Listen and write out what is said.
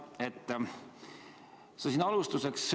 Hea Martin!